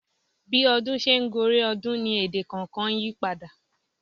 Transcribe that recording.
Bí ọdún ṣe ń gorí ọdún ni èdè kọ̀ọ̀kan yípadà.